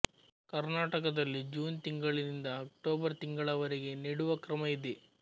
ಕರ್ನಾಟಕದಲ್ಲಿ ಜೂನ್ ತಿಂಗಳಿಂದ ಅಕ್ಟೋಬರ್ ತಿಂಗಳವರೆಗೆ ನೆಡುವ ಕ್ರಮ ಇದೆ